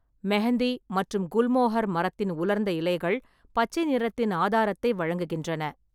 மெஹந்தி மற்றும் குல்மோகூர் மரத்தின் உலர்ந்த இலைகள் பச்சை நிறத்தின் ஆதாரத்தை வழங்குகின்றன.